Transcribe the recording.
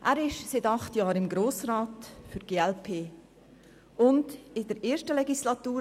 Er ist seit acht Jahren für die glp im Grossen Rat.